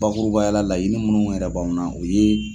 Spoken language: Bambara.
Bakurubaya la, laɲini munnu yɛrɛ b' anw na o ye.